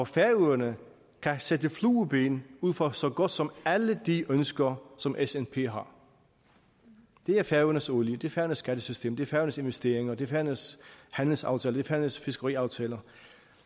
færøerne kan sætte flueben ud for så godt som alle de ønsker som snp har det er færøernes olie det er færøernes skattesystem det er færøernes investeringer det er færøernes handelsaftaler det er færøernes fiskeriaftaler